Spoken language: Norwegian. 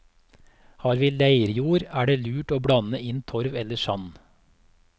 Har vi leirjord, er det lurt å blande inn torv eller sand.